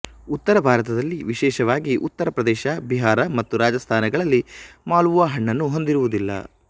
ಉತ್ತರ ಭಾರತದಲ್ಲಿ ವಿಶೇಷವಾಗಿ ಉತ್ತರ ಪ್ರದೇಶ ಬಿಹಾರ ಮತ್ತು ರಾಜಸ್ಥಾನಗಳಲ್ಲಿ ಮಾಲ್ಪುವಾ ಹಣ್ಣನ್ನು ಹೊಂದಿರುವುದಿಲ್ಲ